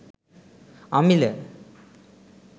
amila